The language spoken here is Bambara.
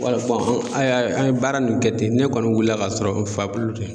Wala an y'a an ye baara nin kɛ ten, ne kɔni wulila ka sɔrɔ n fa bolo tɛ.